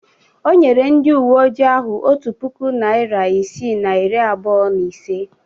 O nyere ndị uwe ojii ahụ otu puku naịra isii na iri abụọ na ise